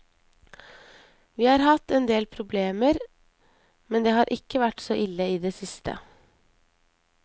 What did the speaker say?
Vi har hatt en del problemer, men det har ikke vært så ille i det siste.